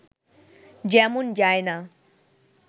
যেমন যায়না